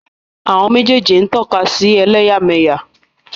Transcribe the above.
Méjèèjì ni ó tọ́ka sí i